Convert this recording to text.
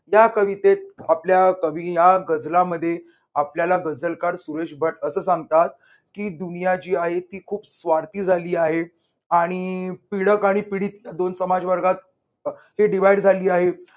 या कवितेत आपल्या कवि या गझलामध्ये आपल्याला गझलकार सुरेश भट असं सांगतात, की दुनिया जी आहे ती खूप स्वार्थी झाली आहे. आणि पीडक आणि पीडित दोन समाज वर्गात अह ही divide झाली आहे.